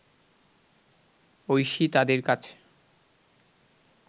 ঐশী তাদের কাছে